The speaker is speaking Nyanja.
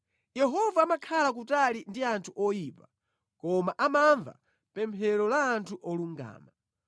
Yehova amakhala kutali ndi anthu oyipa, koma amamva pemphero la anthu olungama.